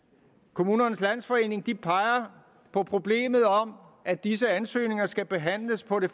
kommunernes landsforening peger på problemet om at disse ansøgninger skal behandles på det